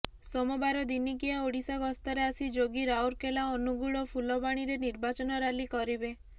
ସୋମବାର ଦିନିକିଆ ଓଡ଼ିଶା ଗସ୍ତରେ ଆସି ଯୋଗୀ ରାଉରକେଲା ଅନୁଗୁଳ ଓ ଫୁଲବାଣୀରେ ନିର୍ବାଚନ ରାଲି କରିବେ